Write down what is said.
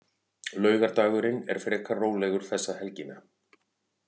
Laugardagurinn er frekar rólegur þessa helgina.